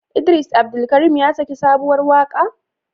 Idris Abdulkarim ya saki sabuwar waƙa?